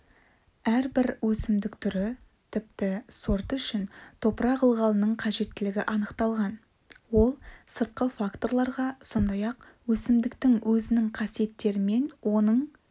әрбір өсімдік түрі тіпті сорты үшін топырақ ылғалының қажеттілігі анықталған ол сыртқы факторларға сондай-ақ өсімдіктің өзінің қасиеттерімен оның